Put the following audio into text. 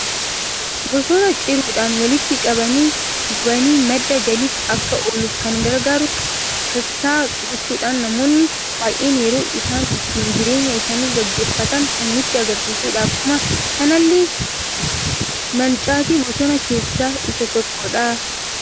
Bosona ciruudhan walitti qabani gubani madda galiif akka ooluuf kan gargaaruu kasaa gochuudhan namoonni baay'een yeroo isaan ittin jireenya isaani geggeeffatan kan nutti agarsiisuudha. akkuma kanalle mancaati bosona keessa isa tokkodha.